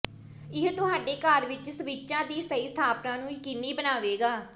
ਇਹ ਤੁਹਾਡੇ ਘਰ ਵਿੱਚ ਸਵਿੱਚਾਂ ਦੀ ਸਹੀ ਸਥਾਪਨਾ ਨੂੰ ਯਕੀਨੀ ਬਣਾਵੇਗਾ